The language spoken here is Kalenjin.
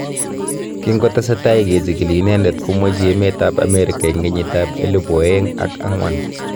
Kingotesetai ke chigili inendet, komweichi emet ab Amerika eng kenyit ab elibu aeng ak ang'wan